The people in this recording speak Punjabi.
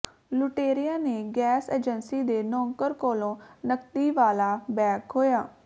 ਲੁਟੇਰਿਆਂ ਨੇ ਗੈਸ ਏਜੰਸੀ ਦੇ ਨੌਕਰ ਕੋਲੋਂ ਨਕਦੀ ਵਾਲਾ ਬੈਗ ਖੋਹਿਆ